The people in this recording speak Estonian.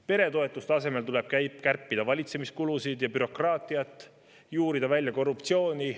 Peretoetuste asemel tuleb kärpida valitsemiskulusid ja bürokraatiat, juurida välja korruptsiooni.